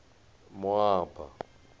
moaba